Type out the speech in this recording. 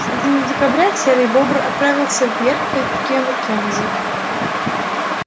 в середине декабря серый бобр отправился вверх по реке маккензи